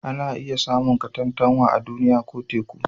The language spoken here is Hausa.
Ana iya samun katantanwa a Duniya ko Teku